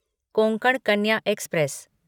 Konkan Kanya express